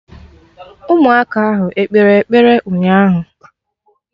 Ụmụaka ahụ ekpere ekpere ụnyaahụ?